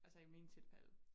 Altså i min tilfælde